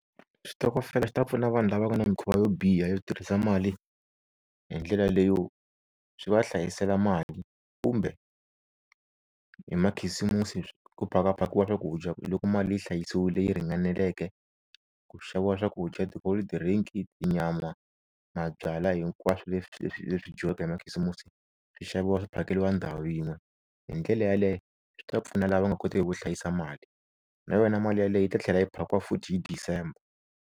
Xitokofela xi ta pfuna vanhu lava nga na mikhuva yo biha yo tirhisa mali hi ndlela leyo swi va hlayisela mali kumbe hi makhisimusi ku phaka phakiwa swakudya loko mali yi hlayisiwile yi ringaneleke ku xaviwa swakudya ti-cold drink, tinyama, mabyalwa hinkwaswo leswi leswi leswi dyiwaka hi makhisimusi swi xaviwa swi phakeriwa ndhawu yin'we hi ndlela yaleyo swi ta pfuna lava nga koteki ku hlayisa mali na yona mali yaleyo yi ta tlhela yi phakiwa futhi hi December.